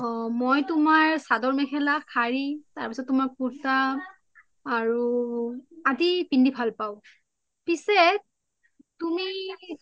অ মই তুমাৰ সদৰ মেখেলা, সাৰি, কুৰ্তা আৰু আদি পিন্ধি ভাল পাও পিছে তুমি